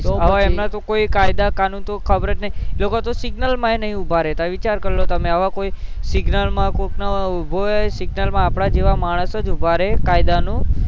અવ એમના તો કોઈ કયદા કાનૂન તો ખબર જ નહીં લોકો તો signal માં નહીં ઉભા રહેતા વિચાર કરી લો તમે આવા કોઈ signal માં કોક ન ઉભો હોય આપડા જેવા માણસ જ ઉભો રે કાયદા નો